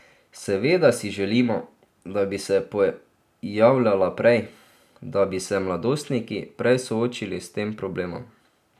Seveda si želimo, da bi se pojavljala prej, da bi se mladostniki prej soočili s tem problemom.